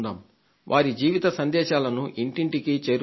వారి జీవిత సందేశాలను ఇంటింటికీ చేరుద్దాం